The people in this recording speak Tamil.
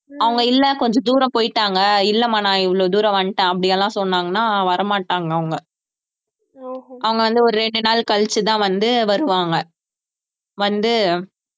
அவங்க இல்லை கொஞ்ச தூரம் போயிட்டாங்க இல்லம்மா நான் இவ்வளவு தூரம் வந்துட்டேன் அப்படியெல்லாம் சொன்னாங்கனா வரமாட்டாங்க அவங்க அவங்க வந்து ஒரு ரெண்டு நாள் கழிச்சுதான் வந்து வருவாங்க வந்து